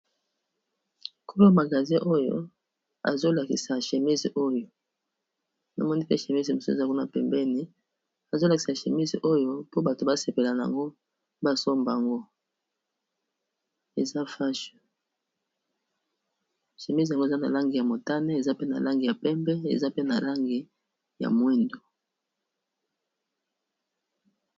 Kolo magasin oyo azo lakisa chemise oyo na moni pe chemise mosusu eza kuna pembeni azo lakisa chemise oyo mpo bato ba sepelana yango basomba ngo eza fashe chemise yango eza na langi ya motane, eza pe na langi ya pembe, eza pe na langi ya mwindo.